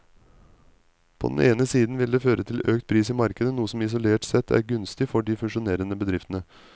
På den ene siden vil den føre til økt pris i markedet, noe som isolert sett er gunstig for de fusjonerende bedriftene.